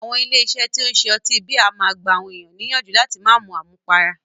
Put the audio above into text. Àwọn ilé iṣé tí o ń ṣe ọtí bíà a máà gbà àwọn ènìyàn níyànjú láti má mú àmúpará.